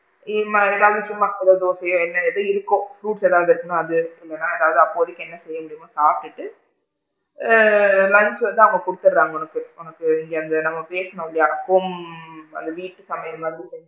இது மாதிரி தான் உப்புமாவோ தோசையோ என்னது இருக்கோ fruits ஏதாவது இருந்தா அது இல்லைன்னா அப்போதைக்கு என்ன இருக்கோ சாப்டுட்டு ஆ லஞ்ச் வந்து அவுங்க குடுத்திடுறாங்க உங்களுக்கு உனக்கு இங்க இங்க பேசுனோம் இல்லையா home அது வீட்டு சமையல் மாதிரி,